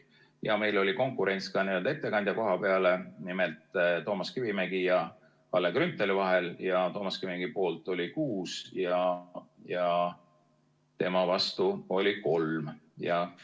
Ja meil oli konkurents ka ettekandja koha peale, nimelt Toomas Kivimägi ja Kalle Grünthali vahel, ja Toomas Kivimägi poolt oli 6 ja tema vastu oli 3 komisjoni liiget.